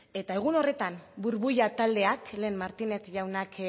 eta egun horretan burbuila taldeak lehen martínez jaunak